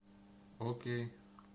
окей